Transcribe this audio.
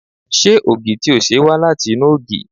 Ṣé ògì tí o ṣe wá láti inú ògì?